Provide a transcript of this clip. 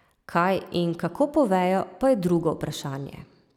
Kaj in kako povejo, pa je drugo vprašanje.